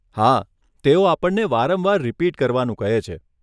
હા, તેઓ આપણને વારંવાર રિપીટ કરવાનું કહે છે.